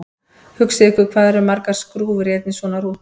Hugsið ykkur hvað það eru margar skrúfur í einni svona rútu!